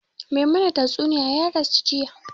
Mai mana tastunniya ya rasu jiya